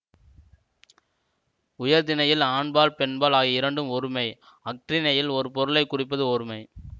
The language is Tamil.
உயர்திணையில் ஆண்பால் பெண்பால் ஆகிய இரண்டும் ஒருமை அஃறிணையில் ஒரு பொருளை குறிப்பது ஒருமை